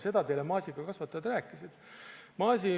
Seda teile maasikakasvatajad rääkisid.